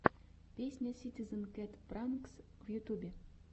песня ситизен кэт пранкс в ютьюбе